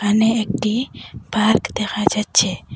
এখানে একটি পার্ক দেখা যাচ্ছে।